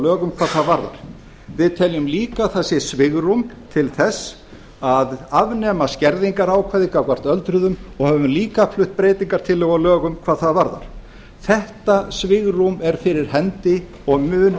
lögum hvað það varðar við teljum lifa að það sé svigrúm til þess að afnema skerðingarákvæði gagnvart öldruðum og við höfum líka flutt breytingartillögum á lögum hvað það varðar þetta svigrúm er fyrir hendi og mun